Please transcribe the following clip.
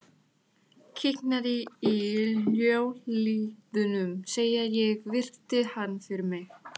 Kiknaði í hnjáliðunum þegar ég virti hann fyrir mér.